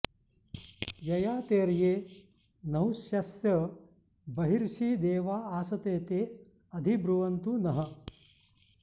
ययातेर्ये नहुष्यस्य बर्हिषि देवा आसते ते अधि ब्रुवन्तु नः